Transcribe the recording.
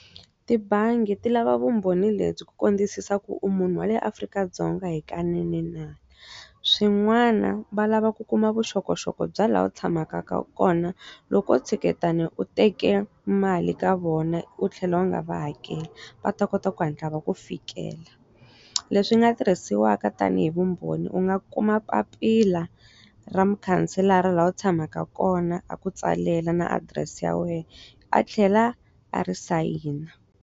Tibangi ti lava vumbhoni lebyi ku kambisisa ku u munhu wa leyi Afrika-Dzonga hikanene na? Swin'wana va lava ku kuma vuxokoxoko bya laha u tshamaka kona loko u tshuketana u teke mali ka vona u tlhela u nga va hakeli va ta kota ku hatla va ku fikela leswi nga tirhisiwaka tanihi vumbhoni u nga kuma papila ra mukhanselara laha u tshamaka kona a ku tsalela na adirese ya wena a tlhela a ri sayina.